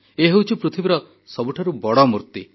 ଏ ହେଉଛି ପୃଥିବୀର ସବୁଠାରୁ ବଡ଼ ମୂର୍ତ୍ତି